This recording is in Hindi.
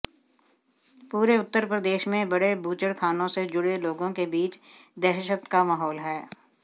पूरे उत्तर प्रदेश में बड़े बूचड़खानों से जुड़े लोगों के बीच दहशत का माहौल है